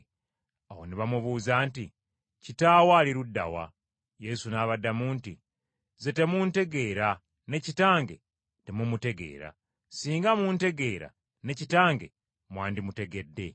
Awo ne bamubuuza nti, “Kitaawo ali ludda wa?” Yesu n’abaddamu nti, “Nze temuntegeera ne Kitange temumutegeera. Singa muntegeera ne Kitange mwandimutegedde.”